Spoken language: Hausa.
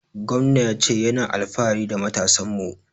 Gwamnan ya ce ya na alfahari da matasan mu